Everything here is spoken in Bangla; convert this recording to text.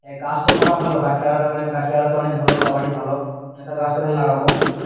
গাছ তো থাকা ভালো গাছ লাগালে মানে গাছ লাগালে তো অনেক ভালো সবারই ভালো হ্যাঁ তাহলে গাছটা তাহলে লাগাবো